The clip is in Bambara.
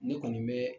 Ne kɔni bɛ